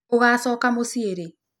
Ũgachoka mũciĩ rĩ?